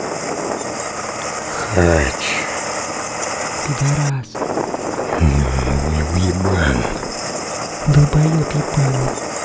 хачик пидорас и уебан долбоёб ебаный